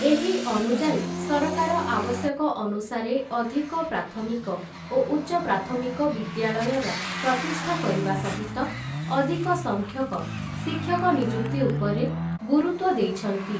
ଏହି ଅନୁଯାୟୀ ସରକାର ଆବଶ୍ୟକ ଅନୁସାରେ ଅଧିକ ପ୍ରାଥମିକ ଓ ଉଚ୍ଚ ପ୍ରାଥମିକ ବିଦ୍ୟାଳୟର ପ୍ରତିଷ୍ଠା କରିବା ସହିତ ଅଧିକ ସଂଖ୍ୟକ ଶିକ୍ଷକ ନିଯୁକ୍ତି ଉପରେ ଗୁରୁତ୍ଵ ଦେଇଛନ୍ତି ।